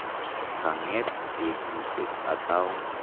Ka ng'et petusyek atau ?